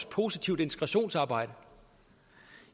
positivt integrationsarbejde